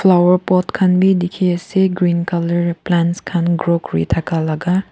flower pot khan bi diki asae green colour plants khan grow kuri taka laka.